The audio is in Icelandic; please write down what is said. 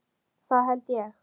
Það held ég